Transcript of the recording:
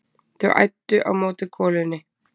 Þau æddu á móti golunni.